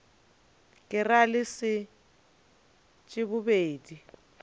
ke ra le leset bobedi